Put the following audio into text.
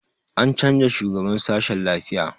An canza shugaban sashen lafiya